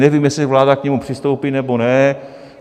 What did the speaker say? Nevím, jestli vláda k němu přistoupí, nebo ne.